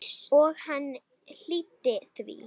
Og hann hlýddi því.